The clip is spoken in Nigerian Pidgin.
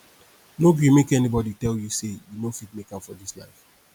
no gree make anybodi tell you sey you no fit make am for dis life